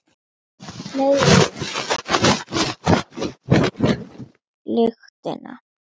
Fleiri en hann höfðu fundið lyktina.